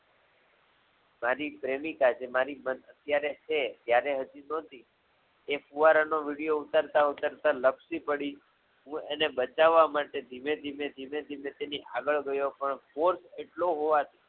મારી પ્રેમિકા જ જે મારી પત્ની અત્યારે છે જ્યારે હજુ સુધી એ ફુવારાનો વિડિયો ઊતરતાઊતરતા લપસી પડી હું એને બચ્ચ્વ્વાં માટે ધીમેધીમે તેની આગળ ગ્યો પણ force એટલો હોવાથી